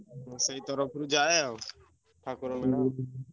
ମୁଁ ସେଇ ତରଫ ରୁ ଯାଏ ଆଉ